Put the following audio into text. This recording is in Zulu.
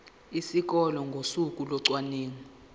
esikoleni ngosuku locwaningo